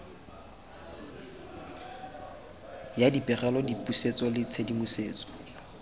ya dipegelo dipusetso le tshedimosetso